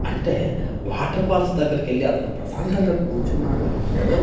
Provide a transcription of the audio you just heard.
అంటే water falls దగ్గరకెళ్ళి అతను ప్రశాంతంగా కూర్చున్నాడు అంటే--